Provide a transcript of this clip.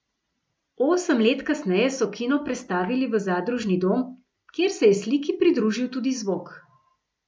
Osem let kasneje so kino prestavili v zadružni dom, kjer se je sliki pridružil tudi zvok.